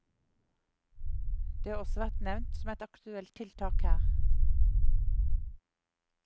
Det har også vært nevnt som et aktuelt tiltak her.